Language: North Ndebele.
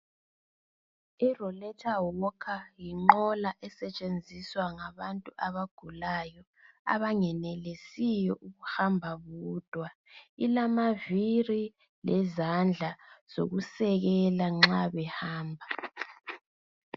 IRoletha Wokha yinqola esetshenziswa ngabantu abagulayo abangenelisiyo ukubamba bodwa. Ilamavili lezandla zokusekela nxa behamba.